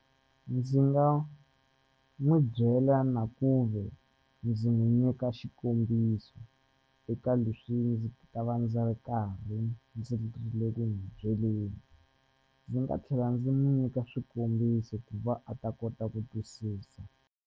Ndzi nga n'wi byela na kuve ndzi n'wi nyika xikombiso eka leswi ndzi ta va ndzi ri karhi ndzi le ku n'wi byeleni ndzi nga tlhela ndzi n'wi nyika swikombiso ku va a ta kota ku twisisa.